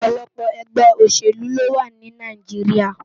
Òpòlòpò ègbè óṣélú lówá ni Náijiriá